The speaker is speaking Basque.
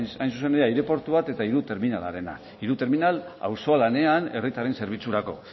hain zuzen ere aireportu bat eta hiru terminalarena hiru terminal auzolanean herritarren zerbitzurako